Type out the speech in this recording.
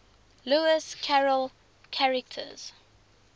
lewis carroll characters